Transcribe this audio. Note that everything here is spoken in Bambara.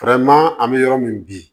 an bɛ yɔrɔ min bi